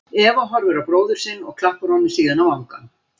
Eva horfir á bróður sinn og klappar honum síðan á vangann.